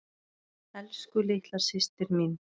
Elsku litla systir mín.